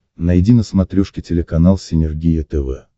найди на смотрешке телеканал синергия тв